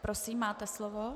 Prosím, máte slovo.